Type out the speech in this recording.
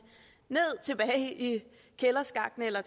og tilbage i kælderskakten eller